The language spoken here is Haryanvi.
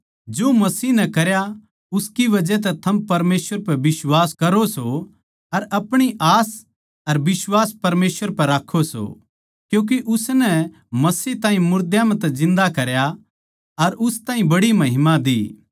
जो मसीह नै करया उसकी बजह तै थम परमेसवर पै बिश्वास करो सो अर अपनी आस अर बिश्वास परमेसवर पै राक्खो सो क्यूँके उसनै मसीह ताहीं मुर्दा म्ह तै जिन्दा करया अर उस ताहीं बड़ी महिमा दी